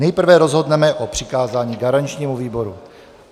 Nejprve rozhodneme o přikázání garančnímu výboru.